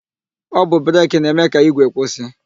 Ọ bụ breki na-eme ka ígwè kwụsị.